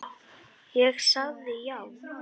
Ég sagði já.